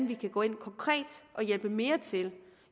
vi kan gå ind konkret og hjælpe mere til